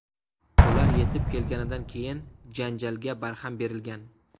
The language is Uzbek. Ular yetib kelganidan keyin janjalga barham berilgan.